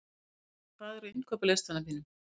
Hásteinn, hvað er á innkaupalistanum mínum?